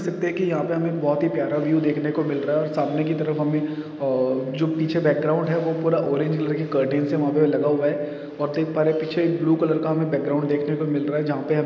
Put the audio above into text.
देख सकते है की यहा पे हमे बहुत की प्यारा व्यू देखने को मिल रहा और सामने की तरफ हमे अ जो पीछे बॅकग्राउंड है वो पूरा ओरिजिनल कर्टेन से लगा हुआ है और ठीक हमारे पीछे ब्लू कलर का बॅकग्राउंड देखने को मिल रहा है जहा पे हमे--